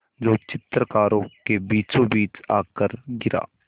जो चित्रकारों के बीचोंबीच आकर गिरा